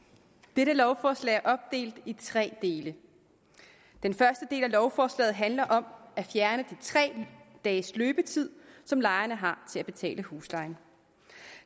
dette lovforslag er opdelt i tre dele den første del af lovforslaget handler om at fjerne de tre dages løbetid som lejerne har til at betale huslejen